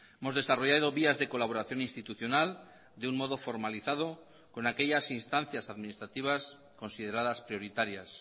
hemos desarrollado vías de colaboración institucional de un modo formalizado con aquellas instancias administrativas consideradas prioritarias